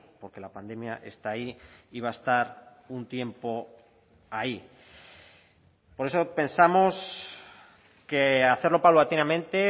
porque la pandemia está ahí y va a estar un tiempo ahí por eso pensamos que hacerlo paulatinamente